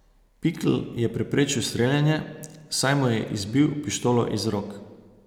Pikl je preprečil streljanje, saj mu je izbil pištolo iz rok.